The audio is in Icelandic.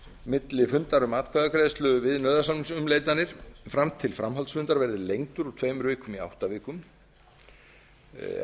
milli fundar um atkvæðagreiðslu við nauðasamningsumleitanir fram til framhaldsfundar verði lengdur úr tveimur vikum í átta vikur er